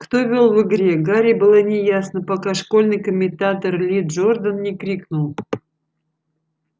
кто вёл в игре гарри было неясно пока школьный комментатор ли джордан не крикнул